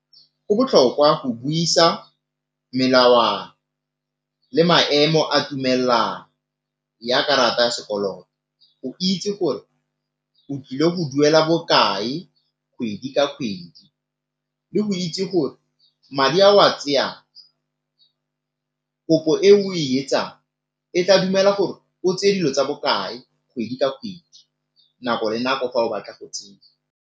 Go botlhokwa go buisa melawana le maemo a tumelano ya karata ya sekoloto, itse gore o ile go duela bokae kgwedi ka kgwedi le go itse gore madi ao a tseyang, kopo eo e etsang e tla dumela gore o tseye dilo tsa bokae kgwedi ka kgwedi, nako le nako fa o batla go tseya.